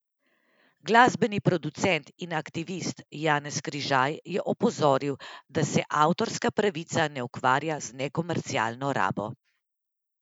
Glasbeni producent in aktivist Janez Križaj je opozoril, da se avtorska pravica ne ukvarja z nekomercialno rabo.